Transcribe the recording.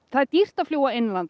það er dýrt að fljúga innanlands